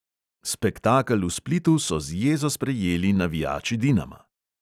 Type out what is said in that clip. Spektakel v splitu so z jezo sprejeli navijači dinama.